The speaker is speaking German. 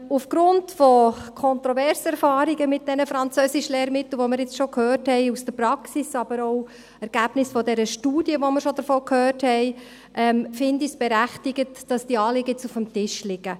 Aufgrund kontroverser Erfahrungen mit diesen Französischlehrmitteln, von denen wir jetzt schon gehört haben, aus der Praxis, aber auch die Ergebnisse der Studie, von der wir schon gehört haben, finde ich es berechtigt, dass diese Anliegen jetzt auf dem Tisch liegen.